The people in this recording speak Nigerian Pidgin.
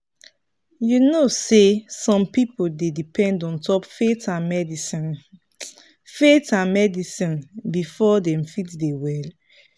you know say some people dey depend ontop faith and medicine faith and medicine before dem fit dey well.